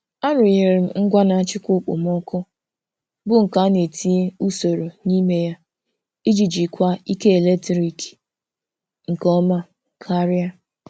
A rụnyere m ngwa na-achịkwa okpomọkụ bụ nke a na etinye usoro n'ime ya iji jikwaa ike eletrik nke ọma karịa.